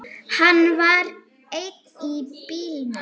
Hann var einn í bílnum